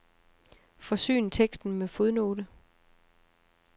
Forsyn teksten med fodnote.